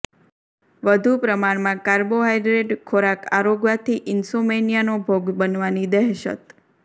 વધુ પ્રમાણમાં કાર્બોહાઈડ્રેડ ખોરાક આરોગવાથી ઈન્સોમેનીયાનો ભોગ બનવાની દહેશત